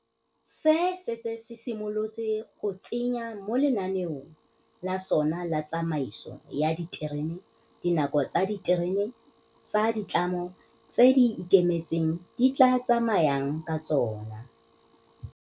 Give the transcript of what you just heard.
se setse se simolotse go tsenya mo lenaneong la sona la tsamaiso ya diterene dinako tse diterene tsa ditlamo tse di ikemetseng di tla tsamayang ka tsona.